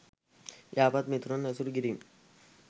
යහපත් මිතුරන් ඇසුරු කිරීම